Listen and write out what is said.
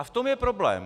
A v tom je problém.